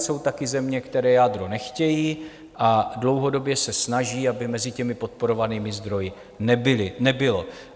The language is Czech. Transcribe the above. Jsou také země, které jádro nechtějí a dlouhodobě se snaží, aby mezi těmi podporovanými zdroji nebylo.